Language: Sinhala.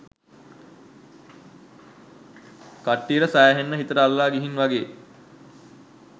කට්ටියට සෑහෙන්න හිතට අල්ලලා ගිහින් වගේ